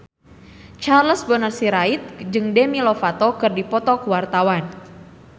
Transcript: Charles Bonar Sirait jeung Demi Lovato keur dipoto ku wartawan